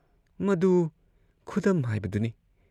ꯃꯗꯨ ꯈꯨꯗꯝ ꯍꯥꯏꯕꯗꯨꯅꯤ ꯫